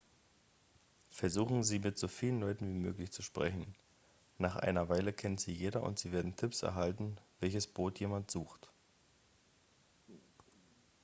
versuchen sie mit so vielen leuten wie möglich zu sprechen nach einer weile kennt sie jeder und sie werden tipps erhalten welches boot jemanden sucht